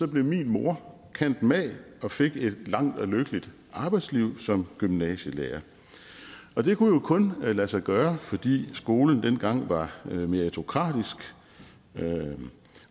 blev min mor cand mag og fik et langt og lykkeligt arbejdsliv som gymnasielærer og det kunne jo kun lade sig gøre fordi skolen dengang var meritokratisk